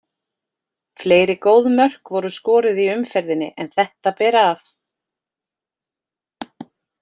Fleiri góð mörk voru skoruð í umferðinni en þetta ber af.